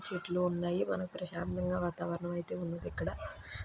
చెట్లు ఉన్నాయి.మనకు ప్రశాంతంగా వాతాహవరణం అయితే ఉన్నదీ ఇక్కడ--